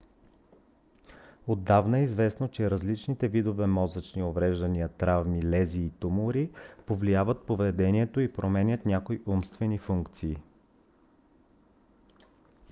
отдавна е известно че различните видове мозъчни увреждания травми лезии и тумори повлияват поведението и променят някои умствени функции